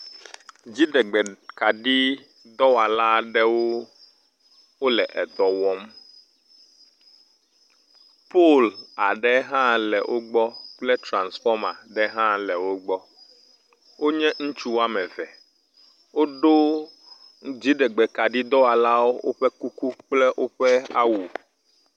Dziɖegbe kaɖi dɔwɔla aɖewo wole edɔ wɔm. Pol aɖe hã le wo gbɔ kple trasfɔma aɖe hã le wo gbɔ. Wonye ŋutsu woame eve. Woɖo dziɖegbe kaɖi dɔwɔlawo ƒe kuku kple woƒe awu.